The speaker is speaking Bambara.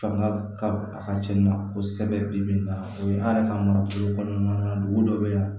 Fanga ka a ka ca ni kosɛbɛ bi bi in na o ye an yɛrɛ ka marabolo kɔnɔna na dugu dɔ bɛ yan